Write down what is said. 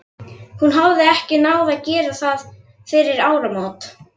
Hún hafði ekki náð að gera það fyrir áramótin.